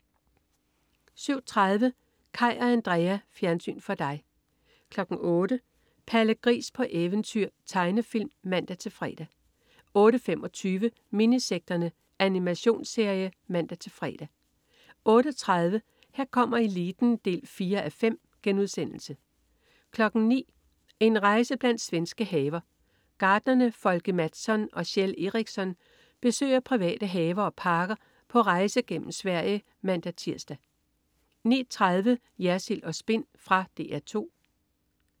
07.30 Kaj og Andrea. Fjernsyn for dig 08.00 Palle Gris på eventyr. Tegnefilm (man-fre) 08.25 Minisekterne. Animationsserie (man-fre) 08.30 Her kommer eliten 4:5* 09.00 En rejse blandt svenske haver. Gartnerne Folke Mattsson og Kjell Eriksson besøger private haver og parker på rejse gennem Sverige (man-tirs) 09.30 Jersild & Spin. Fra DR 2